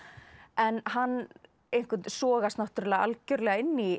en hann sogast náttúrulega algjörlega inn í